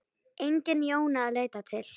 Engin Jóna að leita til.